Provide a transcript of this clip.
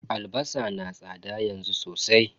Albasa na tsada yanzu sosai.